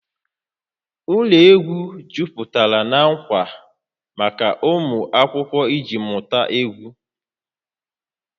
Ụlọ egwu jupụtara na ngwa maka ụmụ akwụkwọ iji mụta egwu